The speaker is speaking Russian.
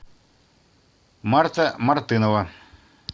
марта мартынова